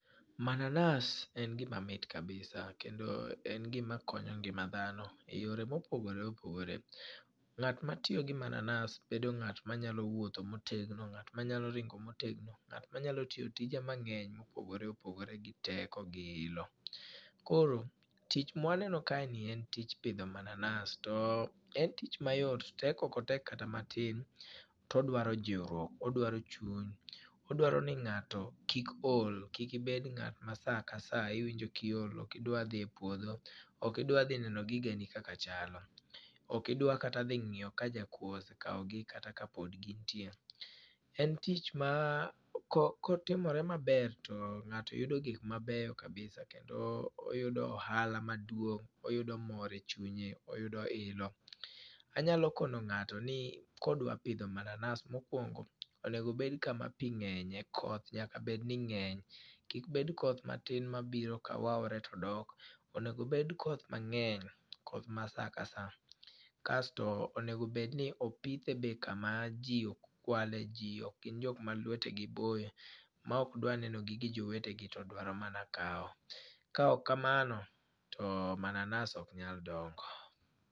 Mananas en gima mit kabisa, kendo en gima konyo ngima dhano e yore mopogore opogore. Ngát ma tiyo gi mananas, bedo ngát ma nyalo wuotho motegno, ngát manyalo ringo motegno, ngát manyalo tiyo tije mangény mopogore opogore gi teko, gi ilo. Koro tich ma waneno kae ni tij pidho mananas. En tich mayot, tek ok otek kata matin. To oduaro jiuruok, odwaro chuny, odwaro ni ngáto kik ol, kik ibed ngát ma sa ka sa iwinjo kiol, okidwa dhi e puodho, okidwa dhi neno gigeni kaka chalo, oki dwa kata dhi ngíyo ka jakwo osekao gi kata ka pod gintie. En tich ma ko ko timore maber to ngáto yudo gik mabeyo kabisa. Kendo oyudo ohala maduong', oyudo mor e chunye, oyudo ilo. Anyalo kono ngáto ni ka odwa pidho mananas, mokwongo oneg obed kama pi ngény, koth nyaka bed ni ngény. Kik bed koth matin ma biro kawaore to dok. Onego obed koth mangény, koth ma sa ka sa. Kasto, onego bed ni opithe be kama ji ok kwale ji, ok gin jok ma lwete gi boyo, ma ok dwa neno gige jowetegi to dwaro mana kawo. Ka ok kamano to mananas ok nyal dongo.